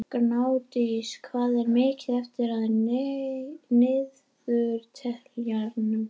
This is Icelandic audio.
Gnádís, hvað er mikið eftir af niðurteljaranum?